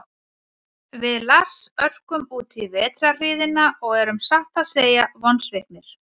Við Lars örkum útí vetrarhríðina og erum satt að segja vonsviknir.